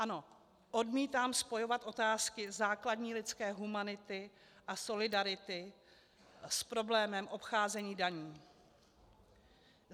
Ano, odmítám spojovat otázky základní lidské humanity a solidarity s problémem obcházení daní.